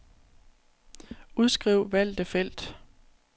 Udskriv valgte felt.